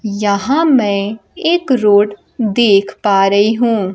यहां मैं एक रोड देख पा रही हूं।